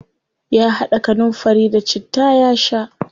Ya haɗa kanunfari da citta ya sha.